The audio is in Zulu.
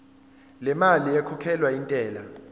lemali ekhokhelwa intela